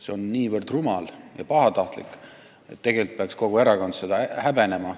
See on nii rumal ja pahatahtlik, et tegelikult peaks kogu erakond seda häbenema.